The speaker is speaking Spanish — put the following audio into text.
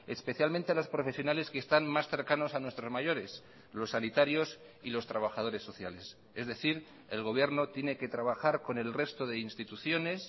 especialmente los profesionales que están más cercanos a nuestros mayores los sanitarios y los trabajadores sociales es decir el gobierno tiene que trabajar con el resto de instituciones